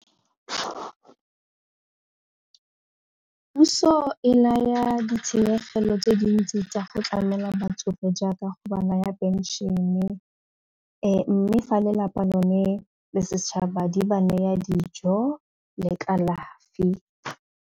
Puso e naya ditshenyegelo tse dintsi tsa go tlamela batsofe jaaka go ba naya pension-e mme fa lelapa lone le setšhaba di ba naya dijo le kalafi.